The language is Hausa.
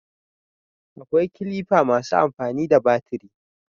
akwai kilifa masu amfani da batiri